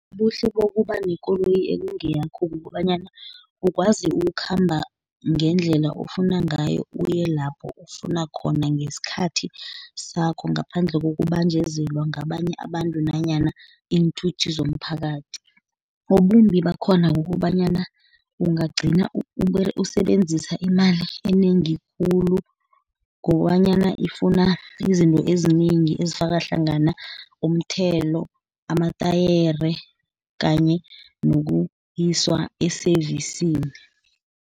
Ubuhle bokuba nekoloyi ekungeyakho, kukobanyana ukwazi ukukhamba ngendlela ofuna ngayo, uye lapho ofuna khona ngesikhathi sakho, ngaphandle kkokubanjezelwa ngabanye abantu, nanyana iinthuthi zomphakathi. Ubumbi bakhona kukobanyana ungagcina usebenzisa imali enengi khulu, ngobanyana ifuna izinto ezinengi ezifaka hlangana, umthelo, amatayere kanye nokuyiswa eseyivisini.